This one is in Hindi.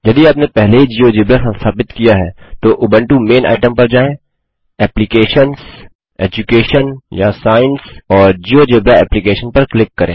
यदि आपने पहले ही जियोजेब्रा संस्थापित किया है तो उबंटू मेन आइटम पर जाएँ एप्लीकेशंस एजुकेशन या साइंस और जियोजेब्रा एप्लीकेशन पर क्लिक करें